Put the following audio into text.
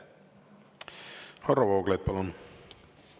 Varro Vooglaid, palun!